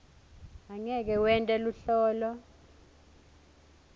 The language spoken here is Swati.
angeke wente luhlolo